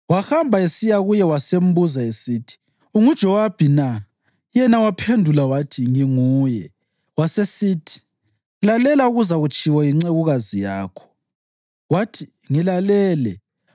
Wahamba esiya kuye, wasembuza esithi, “UnguJowabi na?” Yena waphendula wathi, “Nginguye.” Wasesithi, “Lalela okuzatshiwo yincekukazi yakho.” Wathi, “Ngilalele.”